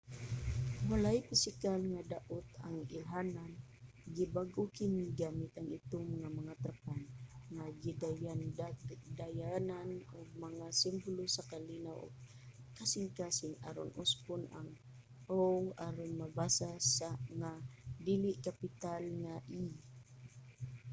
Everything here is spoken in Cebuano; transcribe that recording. walay pisikal nga daot ang ilhanan; gibag-o kini gamit ang itom nga mga trapal nga gidayandayanan og mga simbolo sa kalinaw ug kasing-kasing aron usbon ang o aron mabasa nga dili-kapital nga e